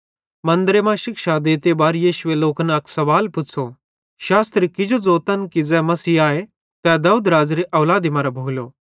मन्दरे मां शिक्षा देते बार यीशुए लोकन अक सवाल पुच़्छ़ो शास्त्री किजो ज़ोतन कि ज़ै मसीह आए तै दाऊदराज़ेरी औलादी मरां भोलो